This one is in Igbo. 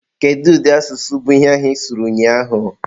Kedu ụdị asụsụ bụ ihe ahụ ịsụrụ ụnyaahụ?